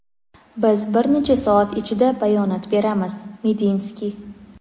biz bir necha soat ichida bayonot beramiz – Medinskiy.